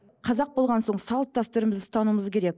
қазақ болған соң салт дәстүрімізді ұстануымыз керек